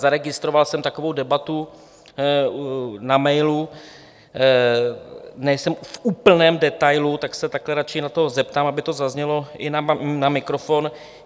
Zaregistroval jsem takovou debatu na mailu, nejsem v úplném detailu, tak se takhle radši na to zeptám, aby to zaznělo i na mikrofon.